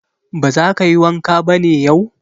Ba za ka yi wanka ba ne yau?